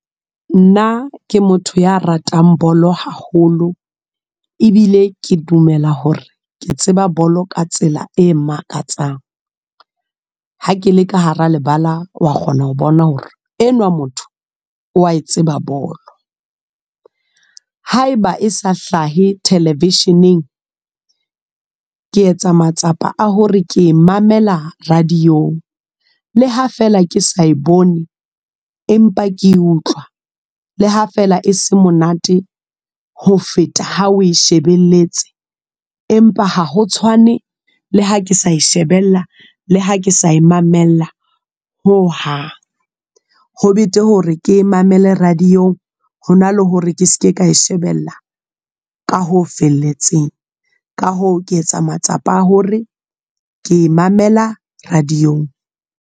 Nna ke motho ya ratang bolo haholo. Ebile ke dumela hore, ke tseba bolo ka tsela e makatsang. Ha kele ka hara lebala, wa kgona ho bona hore enwa motho wa e tseba bolo. Haeba e sa hlahe television-eng. Ke etsa matsapa a hore ke e mamela radio-ng. Le ha feela ke sa e bone, empa ke e utlwa. Le ha feela e se monate ho feta ha o shebelletse. Empa ha ho tshwane le ha ke sa e shebella. Le ha ke sa e mamela, ho hang. Ho betere hore ke mamele radio-ng, hona le hore ke seke ka e shebella, ka ho felletseng. Ka hoo, ke etsa matsapa a hore, ke e mamela radio-ng.